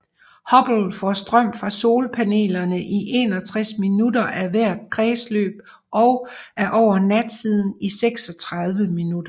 Hubble får strøm fra solpanelerne i 61 minutter af hvert kredsløb og er over natsiden i 36 minutter